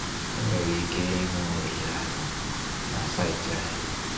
I nwere ike ịhụ ohere ahụ na saịtị anyị.